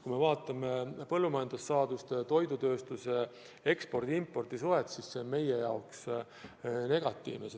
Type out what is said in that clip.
Kui me vaatame põllumajandussaaduste ja toidukaupade ekspordi-impordi suhet, siis näeme, et see on meie jaoks negatiivne.